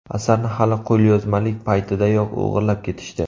Asarni hali qo‘lyozmalik paytidayoq o‘g‘irlab ketishdi.